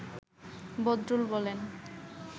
বদরুল বলেন